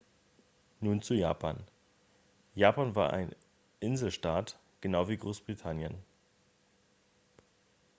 nun zu japan japan war eine inselstaat genau wie großbritannien